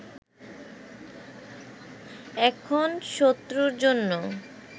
এখন শত্রুর জন্য